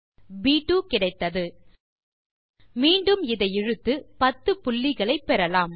ப் 2 கிடைத்தது மீண்டு இதை இழுத்து 10 புள்ளிகளை பெறலாம்